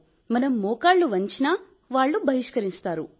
మనం మోకాళ్లు వంచినా వారు బహిష్కరిస్తారు